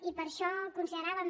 i per això consideràvem